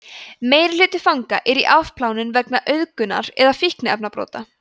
meirihluti fanga er í afplánun vegna auðgunar eða fíkniefnabrota